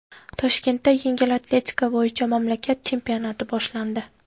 Toshkentda yengil atletika bo‘yicha mamlakat chempionati boshlandi.